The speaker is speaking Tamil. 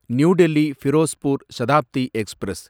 new Delhi Firozpur Shatabdi express